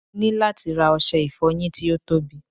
mo ni lati ra ọsẹ ìfoyin ti o tobi